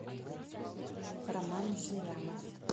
роман зырянов